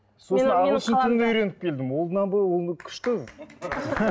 сосын ағылшын тілін үйреніп келдім күшті